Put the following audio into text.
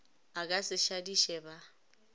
a ka se šadiše ba